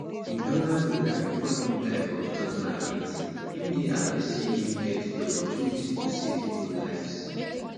im elder broda bifor im die for 2008 im dey happy see im get di opportunity to save pipo lives